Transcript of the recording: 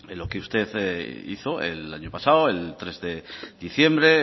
lo que usted hizo el año pasado el tres de diciembre